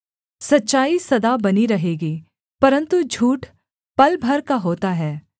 सच्चाई सदा बनी रहेगी परन्तु झूठ पल भर का होता है